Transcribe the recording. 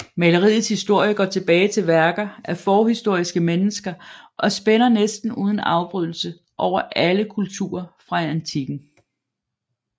Maleriets historie går tilbage til værker af forhistoriske mennesker og spænder næsten uden afbrydelse over alle kulturer fra antikken